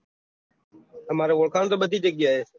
આમારો ઓળખાણ તો બધી જગ્યા એ